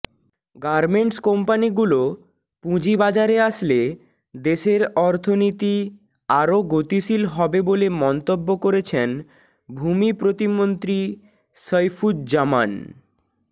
garments কোম্পানিগুলো পুঁজিবাজারে আসলে দেশের অর্থনীতি আরও গতিশীল হবে বলে মন্তব্য করেছেন ভূমি প্রতিমন্ত্রী সাইফুজ্জামান